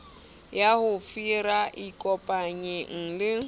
ya ho hira ikopanyeng le